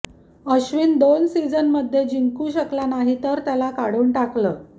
अश्विन दो सिजनमध्ये जिंकू शकला नाही तर त्याला काढून टाकलं